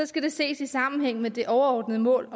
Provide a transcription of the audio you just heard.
skal det ses i sammenhæng med det overordnede mål